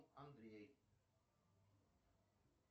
андрей